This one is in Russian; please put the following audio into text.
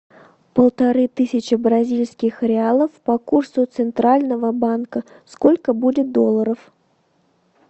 полторы тысячи бразильских реалов по курсу центрального банка сколько будет долларов